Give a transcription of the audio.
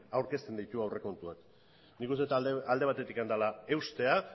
aurkezten ditu aurrekontuak nik uste dut alde batetik dela eustea